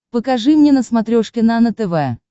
покажи мне на смотрешке нано тв